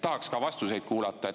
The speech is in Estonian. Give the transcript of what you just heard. Tahaks ka vastuseid kuulda.